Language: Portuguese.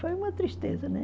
Foi uma tristeza, né?